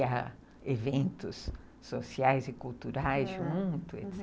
e a eventos sociais e culturais juntos, etc.